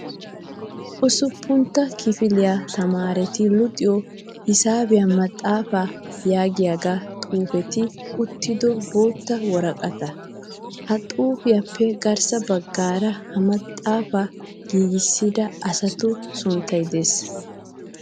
Usuppuntta kifiliyaa tamaareti luxiyoo hisaabiyaa maxxaapaa yaagiyaagee xaapetti uttido bootta woraqataa. Ha xuupiyaappe garssa baggaara ha maxxaapaa giigissida asatu sunttayi des.